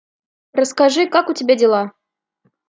расскажи как у тебя дела